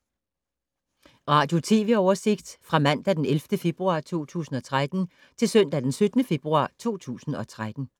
Radio/TV oversigt fra mandag d. 11. februar 2013 til søndag d. 17. februar 2013